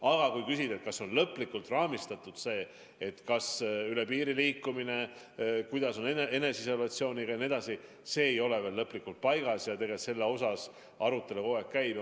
Aga kui küsida, kas on lõplikult raamistatud see, kuidas üle piiri liikumisel on lood eneseisolatsiooniga jne, siis see ei ole veel lõplikult paigas ja selle üle arutelu kogu aeg käib.